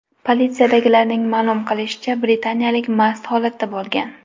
Politsiyadagilarning ma’lum qilishicha, britaniyalik mast holatda bo‘lgan.